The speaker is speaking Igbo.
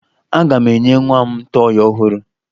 Aga m enye nwa m tọọyị ọhụrụ